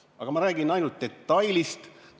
Aga ma räägin ainult detailist.